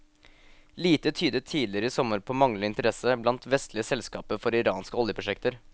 Lite tydet tidligere i sommer på manglende interesse blant vestlige selskaper for iranske oljeprosjekter.